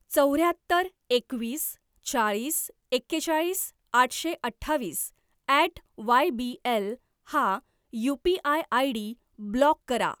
चौऱ्याहत्तर एकवीस चाळीस एकेचाळीस आठशे अठ्ठावीस ॲट वायबीएल हा यू.पी.आय. आयडी ब्लॉक करा.